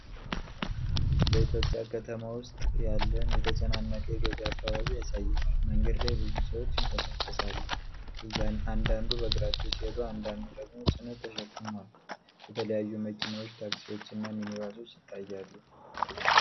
በኢትዮጵያ ከተማ ውስጥ ያለን የተጨናነቀ የገበያ አካባቢ ያሳያል። መንገድ ላይ ብዙ ሰዎች ይንቀሳቀሳሉ፤ አንዳንዱ በእግራቸው ሲሄዱ አንዳንዱ ደግሞ ጭነት ተሸክመዋል። የተለያዩ መኪናዎች፣ ታክሲዎች እና ሚኒባሶች ይታያሉ።